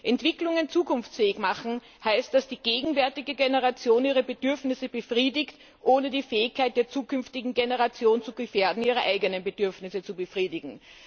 Entwicklungen zukunftsfähig machen heißt, dass die gegenwärtige Generation ihre Bedürfnisse befriedigt, ohne die Fähigkeit der zukünftigen Generation zu gefährden, ihre eigenen Bedürfnisse zu befriedigen.